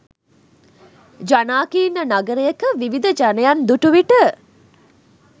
ජනාකීර්ණ නගරයක විවිධ ජනයන් දුටු විට